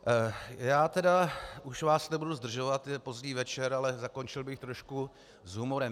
Já tedy už vás nebudu zdržovat, je pozdní večer, ale zakončil bych trošku s humorem.